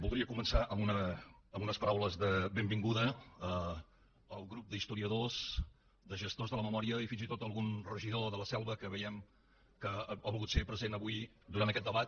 voldria començar amb unes paraules de benvinguda al grup d’historiadors de gestors de la memòria i fins i tot d’algun regidor de la selva que veiem que ha volgut ser present avui durant aquest debat